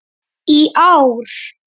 í ár.